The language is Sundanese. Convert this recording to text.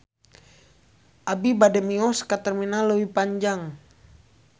Abi bade mios ka Terminal Leuwi Panjang